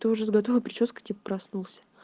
ты уже с готовой причёской типо проснулся